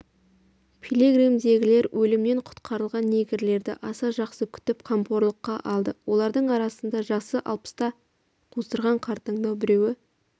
пилигримдегілер өлімнен құтқарылған негрлерді аса жақсы күтіп қамқорлыққа алды олардың арасында жасы алпысты қусырған қартаңдау біреуі